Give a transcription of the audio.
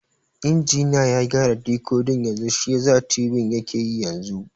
Injiniya ya gyara dikodin yanzu shiyasa tibin yake yi yanzu